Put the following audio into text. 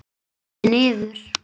Við rifum líka loftið niður.